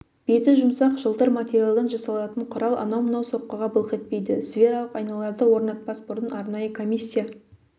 беті жұмсақ жылтыр материалдан жасалатын құрал анау-мынау соққыға былқ етпейді свералық айналарды орнатпас бұрын арнайы комиссия